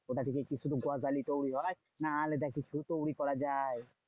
ওটা থেকে কি শুধু গজালই তৈরী হয়? না আলাদা কিছু তৈরী করা যায়?